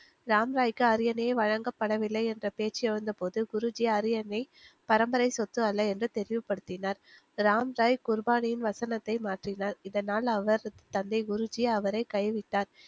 ராம்ராய்க்கு அரியணை வழங்கப்படவில்லை என்ற பேச்சு எழுந்தபோது குருஜி அரியணை பரம்பரை சொத்து அல்ல என்று தெளிவுபடுத்தினார், ராம்ராய் குருபானியின் வசனத்தை மாற்றினார் இதனால் அவா் தந்தை குருஜி அவரை கைவிட்டார்.